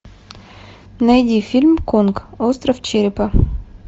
найди фильм конг остров черепа